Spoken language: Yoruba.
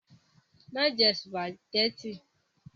Má jẹ sùpàgẹ́tì!